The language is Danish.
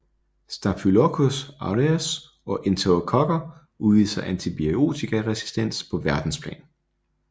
Staphylococcus aureus og enterokokker udviser antibiotikaresistens på verdensplan